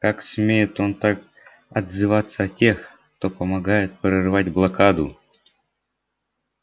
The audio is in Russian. как смеет он так отзываться о тех кто помогает прорывать блокаду